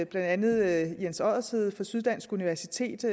blandt andet jens oddershede fra syddansk universitet